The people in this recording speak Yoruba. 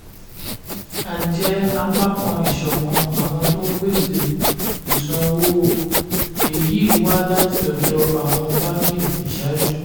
a jẹ́ apá kan ìṣọ̀kan àwọn tó ń pèsè ìsanwó èyí wá láti ọ̀dọ̀ àwọn báńkì ìṣáájú.